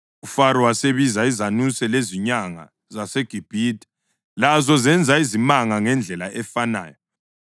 UFaro wasebiza izanuse lezinyanga zaseGibhithe. Lazo zenza izimanga ngendlela efanayo.